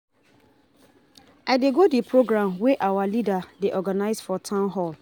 I dey go the program wey our leader dey organize for town hall